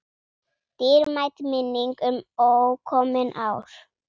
Dýrmæt minning um ókomin ár.